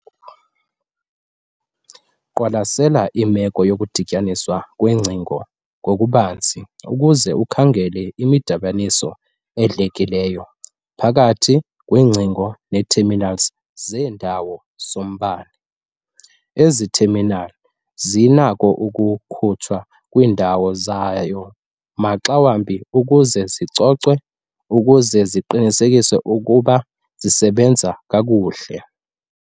Qwalasela imeko yokudityaniswa kweengcingo ngokubanzi uze ukhangele imidibaniso edlekileyo phakath kweengcingo neetheminali zeendawo zombane. Ezi theminali zinako ukukhutshwa kwiindawo zayo maxa wambi ukuze zicocwe ukuqinisekisa ukuba zisebenza kakuhle.